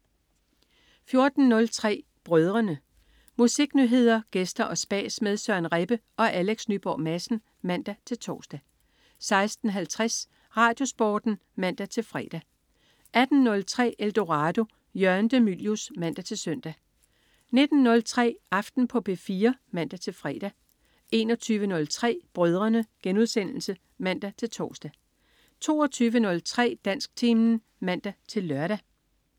14.03 Brødrene. Musiknyheder, gæster og spas med Søren Rebbe og Alex Nyborg Madsen (man-tors) 16.50 RadioSporten (man-fre) 18.03 Eldorado. Jørgen de Mylius (man-søn) 19.03 Aften på P4 (man-fre) 21.03 Brødrene* (man-tors) 22.03 Dansktimen (man-lør)